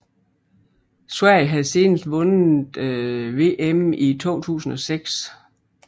Sverige havde senest vundet VM i 2006